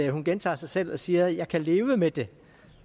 hun gentager sig selv og siger jeg kan leve med det